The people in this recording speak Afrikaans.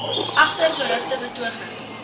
egter berugte betogings